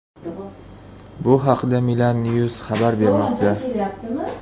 Bu haqda Milan News xabar bermoqda .